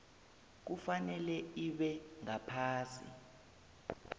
kufanele ibe ngaphasi